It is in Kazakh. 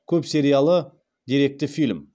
көпсериялы деректі фильм